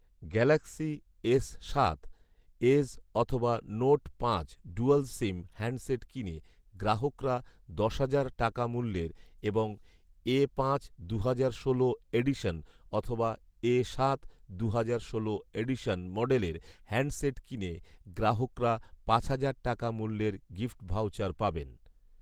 Galaxy S সাত edge অথবা Note পাঁচ ডুয়াল সিম হ্যান্ডসেট কিনে গ্রাহকরা দশ হাজার টাকা মূল্যের এবং এ পাঁচ দু'হাজার ষোলো এডিশন অথবা এ সাত দু'হাজার ষোলো এডিশন মডেলের হ্যান্ডসেট কিনে গ্রাহকরা পাঁচ হাজার টাকা মূল্যের গিফ্ট ভাউচার পাবেন